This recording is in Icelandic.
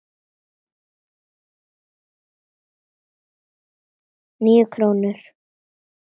Níu krónur?